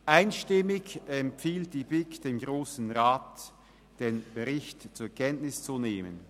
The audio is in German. Einstimmig empfiehlt die BiK dem Grossen Rat, den Bericht zur Kenntnis zu nehmen.